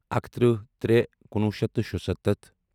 اَکتٕرہ ترےٚ کُنوُہ شیٚتھ تہٕ شُتَتتھ